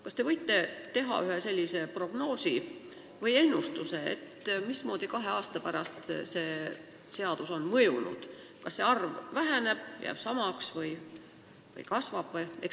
Kas te võite teha prognoosi või ennustuse, mismoodi kahe aasta pärast see seadus on mõjunud, kas see arv väheneb, jääb samaks või kasvab?